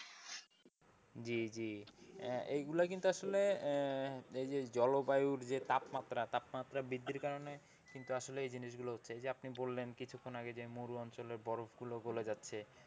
জি জি এগুলা কিন্তু আসলেই যে জলবায়ুর যে তাপমাত্রা, তাপমাত্রা বৃদ্ধির কারণে কিন্তু আসলে এই যে জিনিসগুলো হচ্ছে এই যে আপনি বললেন কিছুক্ষণ আগে যে মরু অঞ্চলের বরফগুলো গলে যাচ্ছে।